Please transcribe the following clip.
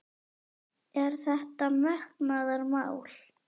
Er þetta metnaðarmál?